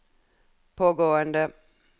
pågående